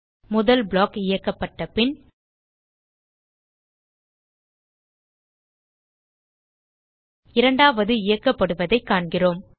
முதல் ப்ளாக் இயக்கப்பட்ட பின் இரண்டாவது இயக்கப்படுவதைக் காண்கிறோம்